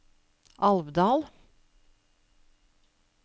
Alvdal